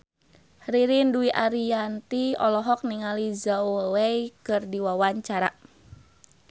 Ririn Dwi Ariyanti olohok ningali Zhao Wei keur diwawancara